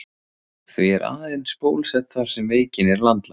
Því er aðeins bólusett þar sem veikin er landlæg.